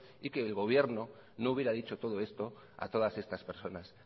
y que el gobierno no hubiera dicho todo esto a todas estas personas